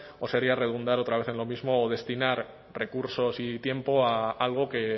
o sería redundar otra vez en lo mismo o destinar recursos y tiempo a algo que